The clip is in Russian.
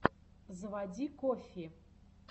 заводи коффи